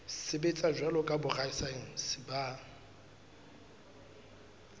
sebetsa jwalo ka borasaense ba